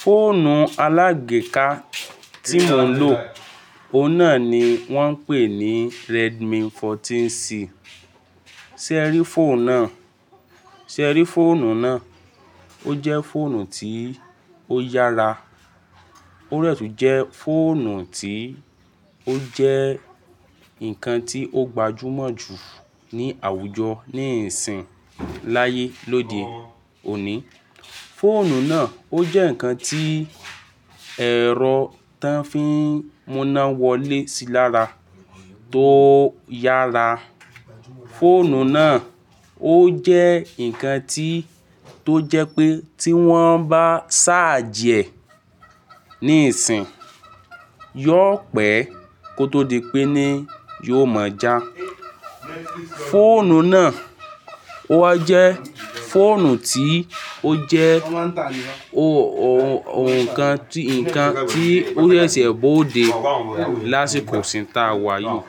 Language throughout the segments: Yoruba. Fóònù alágbèéká tí mo ń lò, ó náà ni wọ́n ń pè ní Redmi 14C. Sé ẹ rí fóònù náà? Sé ẹ rí fóònù náà? Ó jẹ́ fóònù tí ó yára. Ó de tún jẹ́ fóònù tí ó jẹ́ nǹkan tí ó gbajúmọ̀ jù ní àwùjọ nísinyi láyé lọ́dè òní. Fóònù náà ó jẹ́ ǹkan tí ẹ̀rọ tí wọ́n fi ń mú iná wọlé sí lára tó yára. Fóònù náà ó jẹ́ ǹkan tí tó jẹ́ pé tí wọ́n bá ṣáàjì ẹ̀ níìsínyi, yóò pẹ́ kó tó di pé ní yóò mọjá. Fóònù náà, ó jẹ́ fóònù tí ó jẹ́ o-o-ọ̀kan tí, ǹkan tí ó rẹ̀ sí ẹ bóo dé lásìkò síta wá yìí.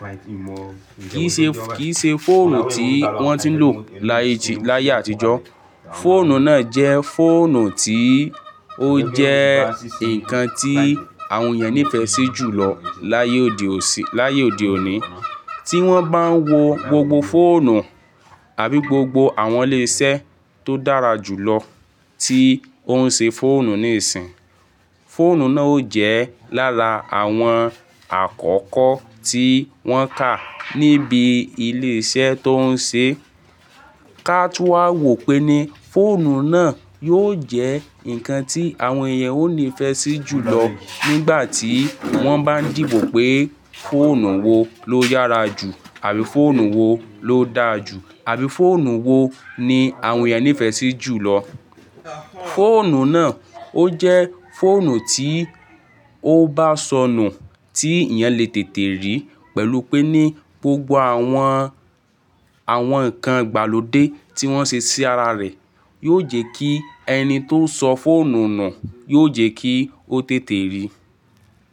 Kì í ṣe, kì í ṣe fóònù tí wọ́n ti ń lò láyé ì, láyé àtijọ́. Fóònù náà jẹ́ fóònù tí ó jẹ́ ǹkan tí àwọn èèyàn nífẹ̀ẹ́ sí jùlọ láyé òde òsì, láyé òde òní. Tí wọ́n bá ń wo gbogbo fóònù àbí gbogbo àwọn ilé-iṣẹ́ tó dára jùlọ tí ó ń ṣe fóònù níìsín, fóònù náà ó jẹ́ lára àwọn àkọ́kọ́ tí wọ́n kà níbi ilé-iṣẹ́ tó ń ṣe. Ká tú wa wò pé ní fóònù nà yóò jẹ́ ǹkan tí etan ó nífẹ̀sí jùlọ nígbàtí wọ́n bá ń dìbò pé fóònù wo ló yára jù àbí fónù wo ló dáa jù àbí fóònù wo ni àwọn èèyàn nífẹ̀sí jùlọ. Fóònù náà ó jẹ́ fóònù tí ó bá sọnù tí èèyàn lè tètè rí pẹ̀lú pé ní gbogbo àwọn, àwọn ǹkan ìgbàlódé tí wọ́n ṣe sí ara rẹ̀ yóò jẹ́ kí ẹni tó sọ fóònù nà yóò jẹ́ kí ó tètè rí.